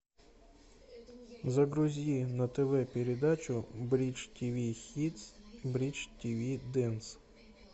загрузи на тв передачу бридж тв хитс бридж тв дэнс